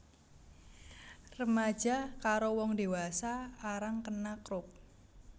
Remaja karo wong dewasa arang kena Croup